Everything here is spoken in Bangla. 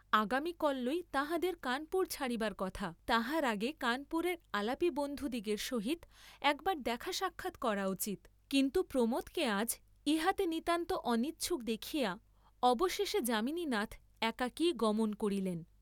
আগামী কল্যই তাঁহাদের কানপুর ছাড়িবার কথা, তাহার আগে কানপুরের আলাপী বন্ধুদিগের সহিত একবার দেখা সাক্ষাৎ করা উচিত, কিন্তু প্রমোদকে আজ ইহাতে নিতান্ত অনিচ্ছুক দেখিয়া অবশেষে যামিনীনাথ একাকীই গমন করিলেন।